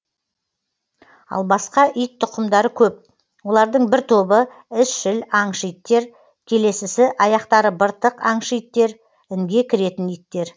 ал басқа ит тұқымдары көп олардың бір тобы ізшіл аңшы иттер келесісі аяқтары быртық аңшы иттер інге кіретін иттер